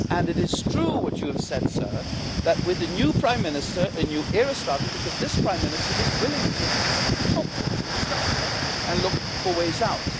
It is true what you have said, sir, that with the new prime minister, a new era started because this prime minister is willing to at least talk to us and discuss with us and look for ways out.